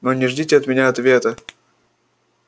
но не ждите от меня ответа